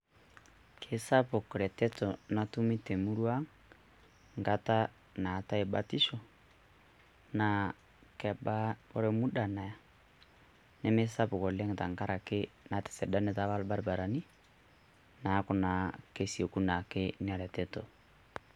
Kesapuk ereteto natumii te murua enkata naatae batisho naa ore emuda Naya nemesapuk oleng' tenkaraki natisidanita apa ilbarabarani neeku naa kesioku naa ake Ina reteto.